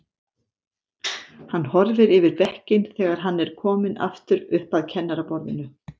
Hann horfir yfir bekkinn þegar hann er kominn aftur upp að kennaraborðinu.